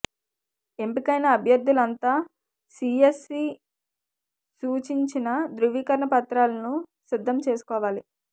ఎంపికైన అభ్యర్థులంతా సీఎస్సీ సూచించిన ధ్రువీకరణ పత్రాలను సిద్ధం చేసుకోవాలి